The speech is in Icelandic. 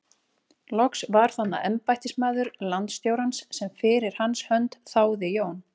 Loks var þarna embættismaður landstjórans sem fyrir hans hönd þáði Jón